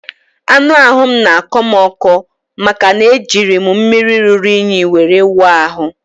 Anụ ahụ m n'akọ m ọkọ maka na e jiri mmiri ruru únyí were wụọ ahụ